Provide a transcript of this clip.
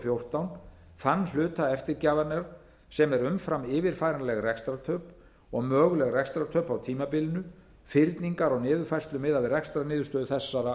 fjórtán þann hluta eftirgjafarinnar sem er umfram yfirfæranleg rekstrartöp og möguleg rekstrartöp á tímabilinu fyrningar og niðurfærslu miðað við rekstrarniðurstöðu þessara ára